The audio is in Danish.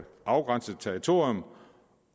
afgrænset territorium